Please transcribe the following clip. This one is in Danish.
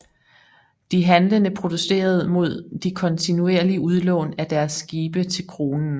De handlende protesterede mod de kontinuerlige udlån af deres skibe til kronen